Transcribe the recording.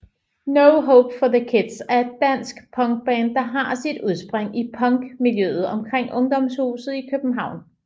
No Hope for the Kids er et dansk punkband der har sit udspring i punk miljøet omkring Ungdomshuset i København